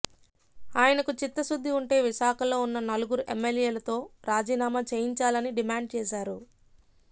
ఆయనకు చిత్తశుద్ధి వుంటే విశాఖలో ఉన్న నలుగురు ఎమ్మెల్యేలతో రాజీనామా చేయించాలని డిమాండ్ చేశారు